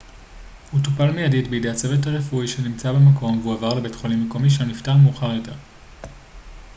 הוא טופל מיידית בידי הצוות הרפואי שנמצא במקום והועבר לבית חולים מקומי שם נפטר מאוחר יותר